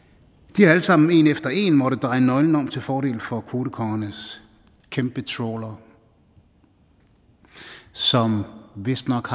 de har alle sammen en efter en måttet dreje nøglen om til fordel for kvotekongernes kæmpetrawlere som vistnok